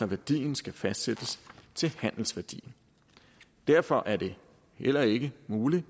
værdien skal fastsættes til handelsværdien derfor er det heller ikke muligt